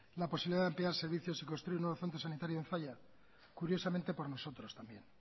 la posibilidad de ampliar servicios y construir nuevo centro sanitario de zalla curiosamente por nosotros también